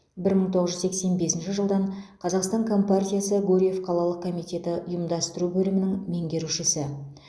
бір мың тоғыз жүз сексен бесінші жылдан қазақстан компартиясы гурьев қалалық комитеті ұйымдастыру бөлімінің меңгерушісі